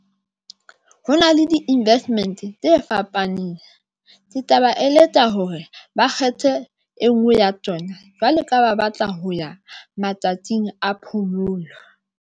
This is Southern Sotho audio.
Ho na le di-investment tse fapaneng. Ke taba e leka hore ba kgethe e ngwe ya tsona jwalo ka ba batla ho ya matsatsing a phomolo.